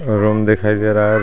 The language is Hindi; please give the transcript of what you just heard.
रूम दिखाई दे रहा है।